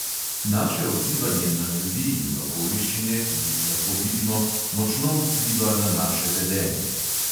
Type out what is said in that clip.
Naše odzivanje na ljudi in okoliščine, ki jih lahko vidimo, močno vpliva na naše vedenje.